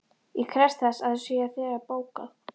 Ég krefst þess að það sé þegar bókað.